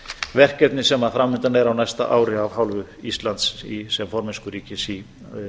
verkefni sem framundan er á næsta ári af hálfu íslands sem formennskuríkis í